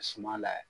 Suma layɛ